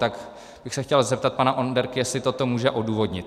Tak bych se chtěl zeptat pana Onderky, jestli toto může odůvodnit.